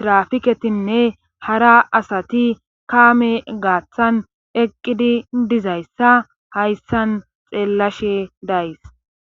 tirafiketinne hara asati kaame gaaththan eqqidi dizayssa hayssan xeellashe days